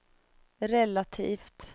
relativt